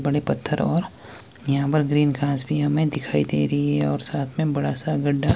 बड़े पत्थर और यहाँ पर ग्रीन घास भीं हमें दिखाई दे रहीं हैं और साथ में बड़ा सा गड्ढा--